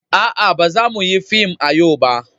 A'a, ba za mu yi fim a yau ba.